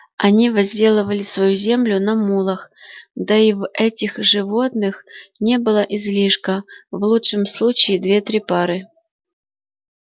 они возделывали свою землю на мулах да и в этих животных не было излишка в лучшем случае две-три пары